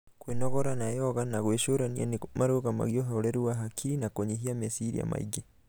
kwĩnogora na yoga na gwĩcurania nĩ marũgamagia ũhoreru wa hakiri na kũnyihia meciria maingĩ.